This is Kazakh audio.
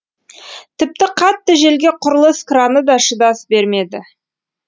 тіпті қатты желге құрылыс краны да шыдас бермеді